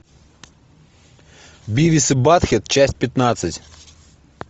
бивис и баттхед часть пятнадцать